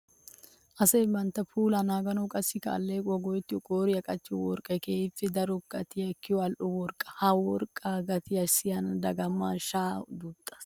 Asay bantta puula naaganawunne qassikka aleqquwawu go'ettiyo qooriyan qachchiyo worqqay keehippe daro gatiya ekkiya ali'o worqqa. Ha worqqa gatiya siyin dagamay shaya duttiis.